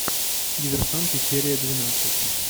диверсанты серия двенадцать